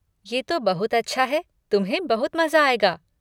ये तो बहुत अच्छा है, तुम्हें बहुत मज़ा आएगा।